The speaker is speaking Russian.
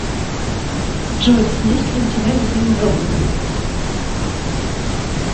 джой есть ли у тебя любимый робот